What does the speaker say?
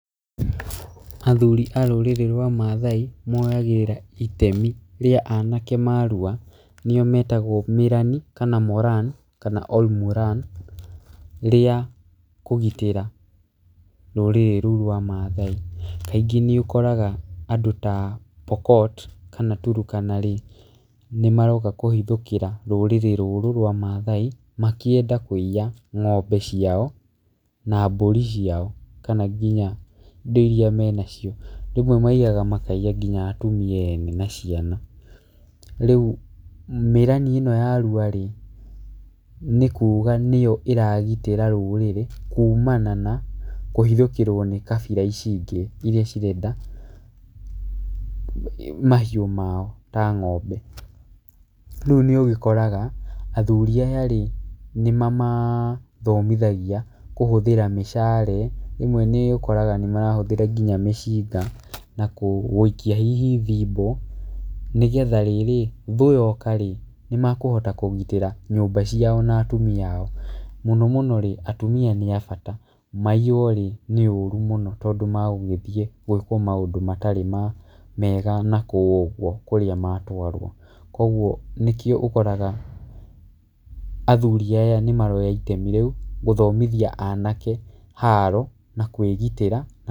Athuri a rũrĩrĩ rwa maathai moyagĩrĩra itemi rĩa anake marua, nĩo metagwo Mĩrani kana Moran kana Ol Moran rĩa kũgitĩra rũrĩrĩ rũu rwa maathai. Kaingĩ nĩ ũkoraga andũ ta Pokot kana Turkana rĩ, nĩ maroka kũhithũkĩra rũrĩrĩ rũrũ rwa maathai makĩenda kũiya ng'ombe ciao na mbũri ciao kana nginya indo irĩa menacio. Rĩmwe maiyaga makaiya nginya atumia ene na ciana. Rĩu mĩrani ĩno ya rua rĩ, nĩ kuuga nĩyo ĩragitĩra rũrĩrĩ kuumana na kũhithũkĩrwo nĩ kabira ici ingĩ irĩa cirenda mahiũ mao ta ng'ombe. Rĩu nĩ ũgĩkoraga athuri aya rĩ nĩ mamathomithagia kũhũthĩra mishale. Rĩmwe nĩ ũkoraga nĩ marahũthĩra nginya mĩcinga na gũikia hihi thimbũ, nĩgetha rĩrĩ, thũ yoka rĩ, nĩ mekũhota kũgirĩta nyũmba ciao na atumia ao. Mũno mũno rĩ, atumia nĩ abata, maiywo rĩ nĩ ũũru mũno tondũ magũgĩthiĩ gwĩkwo maũndũ matarĩ mega na kũu ũguo kũrĩa matwarwo. Nĩkĩo ũkoraga athuri aya nĩ maroya itemi rĩu gũthomithia anake haro na kwĩgitĩra na...